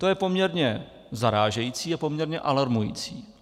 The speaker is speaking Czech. To je poměrně zarážející a poměrně alarmující.